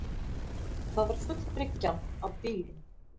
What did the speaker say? Það var full bryggjan af bílum